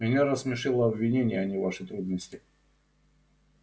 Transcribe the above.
меня рассмешило обвинение а не ваши трудности